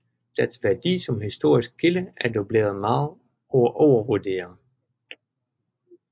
Dets værdi som historisk kilde er dog blevet meget overvurderet